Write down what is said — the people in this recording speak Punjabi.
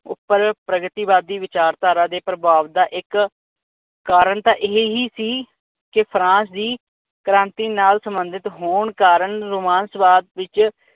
ਉਪਰ ਵਿਚਾਰਵਾਦੀ ਧਾਰਾ ਦੇ ਪ੍ਰਭਾਵ ਦਾ ਇੱਕ ਕਾਰਨ ਤਾ ਇਹੀ ਹੀ ਸੀ ਕੇ ਫਰਾਂਸ ਦੀ ਕ੍ਰਾਂਤੀ ਨਾਲ ਸੰਬੰਧਿਤ ਹੋਣ ਕਾਰਨ ਰੋਮਾਂਸਵਾਦ ਵਿਚ